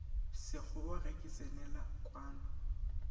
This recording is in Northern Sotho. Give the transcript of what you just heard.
sekgowa ge ke tsenela kwano